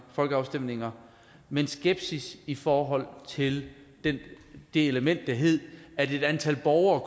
folkeafstemninger med en skepsis i forhold til det element der hed at et antal borgere